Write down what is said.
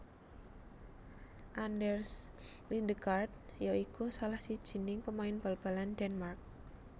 Anders Lindegaard ya iku salah sijining pemain bal balan Denmark